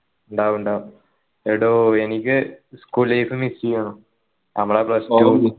ണ്ടാവും ണ്ടാവും എഡോ എനിക്ക് school life miss ചെയ്യുന്നു നമ്മളെ plus one ഉം